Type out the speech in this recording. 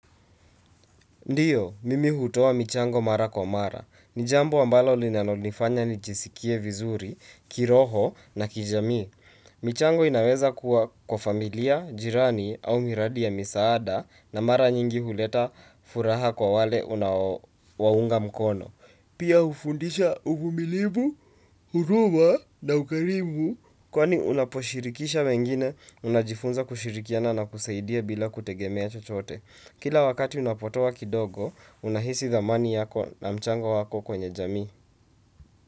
Ndiyo, mimi hutoa michango mara kwa mara. Ni jambo ambalo linalonifanya nijisikie vizuri, kiroho na kijamii. Michango inaweza kuwa kwa familia, jirani au miradi ya misaada na mara nyingi huleta furaha kwa wale unaowaunga mkono. Pia hufundisha uvumilivu, huruma na ukarimu. Kwani unaposhirikisha wengine, unajifunza kushirikiana na kusaidia bila kutegemea chochote. Kila wakati unapotoa kidogo, unahisi thamani yako na mchango wako kwenye jamii.